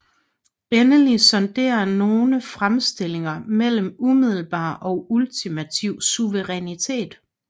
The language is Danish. Endelig sondrer nogle fremstillinger mellem umiddelbar og ultimativ suverænitet